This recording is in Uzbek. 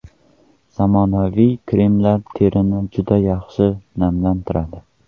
Zamonaviy kremlar terini juda yaxshi namlantiradi.